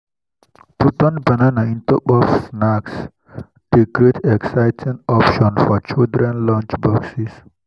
to cut banana into puff snacks dey create exciting constract for children lunchboxes.